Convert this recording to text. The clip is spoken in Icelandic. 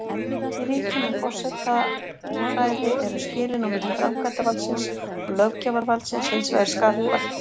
Í ríkjum með forsetaræði eru skilin á milli framkvæmdavaldsins og löggjafarvaldsins hins vegar skarpari.